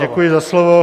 Děkuji za slovo.